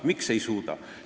Miks ei suuda?